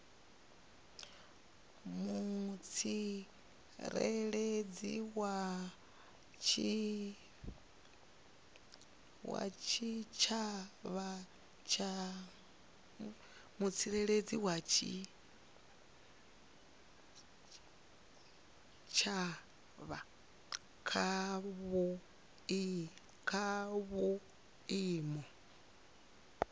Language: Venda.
mutsireledzi wa tshitshavha kha vhuimo